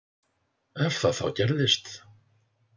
Ef það þá gerðist.